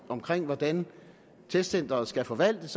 omkring hvordan testcenteret skal forvaltes